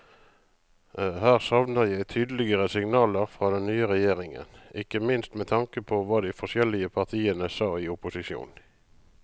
Her savner jeg tydeligere signaler fra den nye regjeringen, ikke minst med tanke på hva de forskjellige partiene sa i opposisjon.